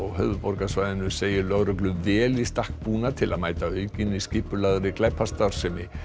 höfuðborgarsvæðinu segir lögreglu vel í stakk búna til að mæta aukinni skipulagðri glæpastarfsemi